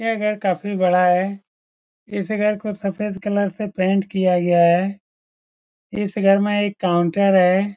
यह घर काफी बड़ा है इस घर को सफ़ेद कलर से पेंट किया गया है इस घर में एक काउन्टर है।